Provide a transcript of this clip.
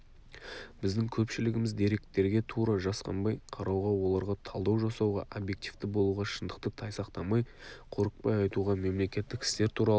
біздің көпшілігіміз деректерге тура жасқанбай қарауға оларға талдау жасауға объективті болуға шындықты тайсақтамай қорықпай айтуға мемлекеттік істер туралы